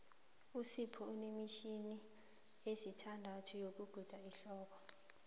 usipho unemitjhini esithandathu yokuguda iinhluthu